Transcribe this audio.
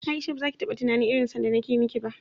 Aisha bazaki taba tunanin irin son da nake miki ba